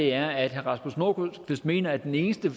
er at herre rasmus nordqvist mener at den eneste